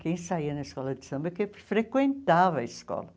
Quem saía na escola de samba é quem frequentava a escola.